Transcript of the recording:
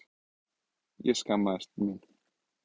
Ég skammaðist mín.